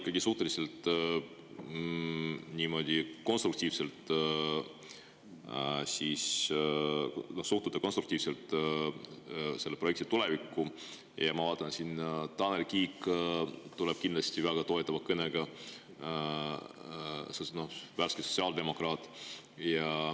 Ma vaatan, et teie ikkagi suhtute konstruktiivselt selle projekti tulevikku, ja ma, et Tanel Kiik, värske sotsiaaldemokraat, tuleb siin kindlasti väga toetava kõnega.